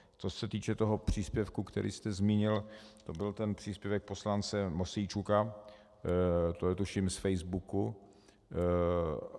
Co se týče toho příspěvku, který jste zmínil, to byl ten příspěvek poslance Mosijčuka, to je tuším z Facebooku.